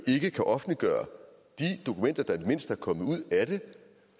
ikke kan offentliggøre de dokumenter der i det mindste er kommet ud af det